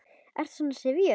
Ertu svona syfjuð?